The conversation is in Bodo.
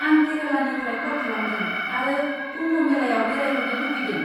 आं केरालानिफ्राय कल खालामदों आरो कुम्भ मेलायाव बेरायहैनो लुबैदों।